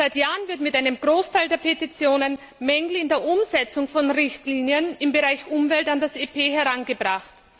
Seit Jahren werden mit einem Großteil der Petitionen Mängel in der Umsetzung von Richtlinien im Bereich Umwelt an das EP herangetragen.